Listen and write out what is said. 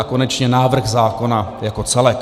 A konečně návrh zákona jako celek.